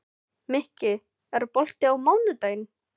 Mikki, er bolti á mánudaginn?